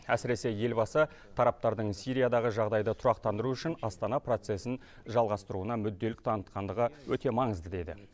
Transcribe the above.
әсіресе елбасы тараптардың сириядағы жағдайды тұрақтандыру үшін астана процесін жалғастыруына мүдделілік танытқандығы өте маңызды деді